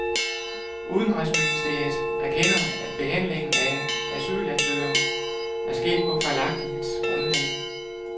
Udenrigsministeriet erkender, at behandlingen af asylansøgninger er sket på fejlagtigt grundlag.